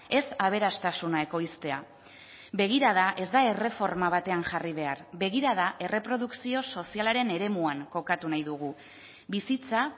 ez aberastasuna ekoiztea begirada ez da erreforma batean jarri behar begirada erreprodukzio sozialaren eremuan kokatu nahi dugu bizitza